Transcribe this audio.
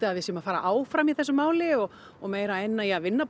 að við séum að fara áfram í þessu máli og og meira í að vinna